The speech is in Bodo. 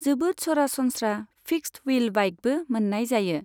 जोबोद सरासनस्रा फिक्सद व्हील बाइकबो मोन्नाय जायो।